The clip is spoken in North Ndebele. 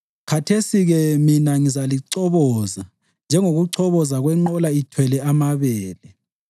Khathesi-ke mina ngizalichoboza njengokuchoboza kwenqola ithwele amabele.